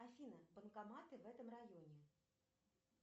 афина банкоматы в этом районе